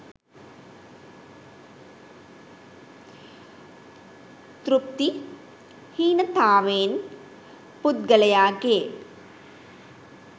තෘප්ති හීනතාවෙන් පුද්ගලයාගේ